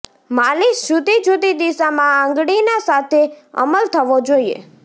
માલિશ જુદી જુદી દિશામાં આંગળીના સાથે અમલ થવો જોઈએ